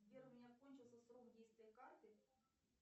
сбер у меня кончился срок действия карты